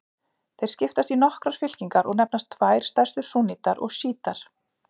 Þeir skiptast í nokkrar fylkingar og nefnast tvær stærstu súnnítar og sjítar.